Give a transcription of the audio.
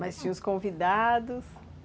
Mas tinha os convidados?